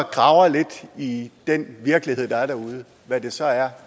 graver lidt i den virkelighed der er derude hvad det så er